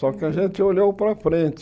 Só que a gente olhou para frente.